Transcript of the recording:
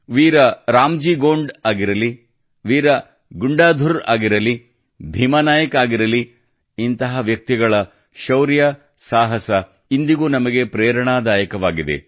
ವೀರ ರಾಮಜೀ ಗೋಂಡ್ ಆಗಿರಲಿ ವೀರ ಗುಂಡಾಧುರ್ ಆಗಿರಲಿ ಭೀಮಾ ನಾಯಕ್ ಆಗಿರಲಿ ಇಂತಹ ವ್ಯಕ್ತಿಗಳ ಶೌರ್ಯ ಸಾಹಸ ಇಂದಿಗೂ ನಮಗೆ ಪ್ರೇರಣಾದಾಯಕವಾಗಿದೆ